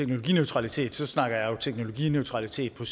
teknologineutralitet så snakker jeg jo teknologineutralitet på